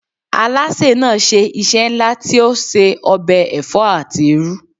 Alásè náà ṣe iṣẹ́ ńlá tí ó se ọbẹ̀ ẹ̀fọ́ àti irú.